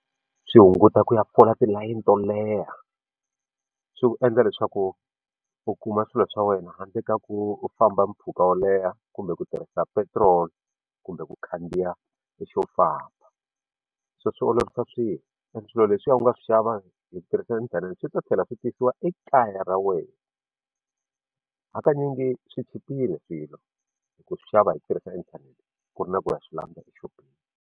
Swi hunguta ku ya fola tilayini to leha swi ku endla leswaku u kuma swilo swa wena handle ka ku u famba mpfhuka wo leha kumbe ku tirhisa petrol kumbe ku khandziya xo famba so swi olovisa swilo and swilo leswiya u nga swi xava hi ku tirhisa inthanete swi ta tlhela swi fikisiwa ekaya ra wena hakanyingi swi chipile swilo hi ku swi xava hi tirhisa inthanete ku ri na ku ya swi landza exopeni.